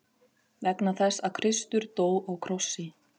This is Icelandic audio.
Vegna þess að Kristur dó á krossi.